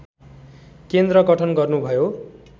केन्द्र गठन गर्नुभयो